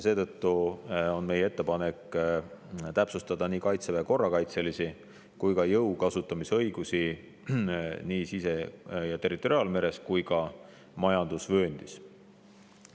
Seetõttu on meie ettepanek täpsustada nii Kaitseväe korrakaitselisi kui ka jõu kasutamise õigusi sise- ja territoriaalmeres ning majandusvööndis.